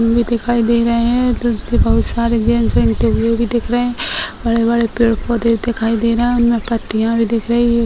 में दिखाई दे रहे हैं बहुत सारे जेंट्स भी दिख रहे हैं बड़े-बड़े पेड़-पौधे दिखाई दे रहे हैं उनमें पत्तियां भी दिख रही हैं।